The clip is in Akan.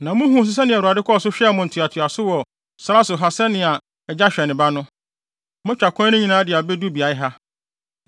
Na muhuu nso sɛnea Awurade kɔɔ so hwɛɛ mo ntoatoaso wɔ sare so ha sɛnea agya hwɛ ne ba no. Moatwa kwan no nyinaa de abedu beae ha.”